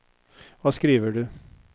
Hva skriver du?